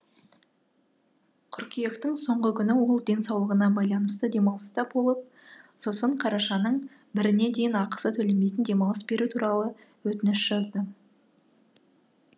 қыркүйектің соңғы күні ол денсаулығына байланысты демалыста болып сосын қарашаның біріне дейін ақысы төленбейтін демалыс беру туралы өтініш жазды